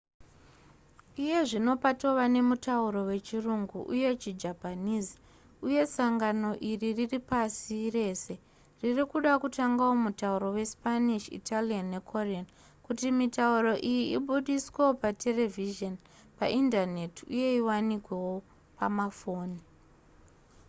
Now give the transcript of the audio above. iye zvino patova nemutauro wechirungu uye chijapanese uye sangano iri riri pasi rese riri kuda kutangawo mutauro wespanish italian nekorean kuti mitauro iyi ibudiswewo paterevhizheni paindaneti uye iwanikewo pamafoni